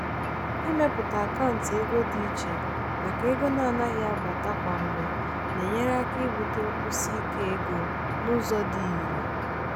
ịmepụta akaụntụ ego dị iche maka ego na-anaghị abata kwa mgbe na-enyere aka ibute nkwụsi ike ego n'ụzọ dị irè.